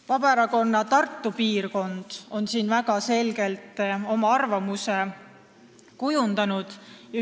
Vabaerakonna Tartu piirkonna esindajad on siin väga selgelt oma arvamuse kujundanud.